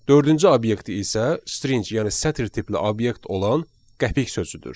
Dördüncü obyekt isə string yəni sətir tipli obyekt olan qəpik sözüdür.